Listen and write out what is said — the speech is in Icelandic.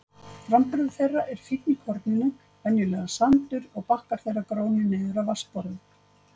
Framburður þeirra er fínn í korninu, venjulega sandur, og bakkar þeirra grónir niður að vatnsborði.